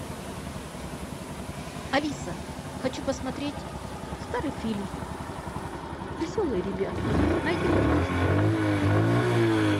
алиса хочу посмотреть старый фильм веселые ребята найди пожалуйста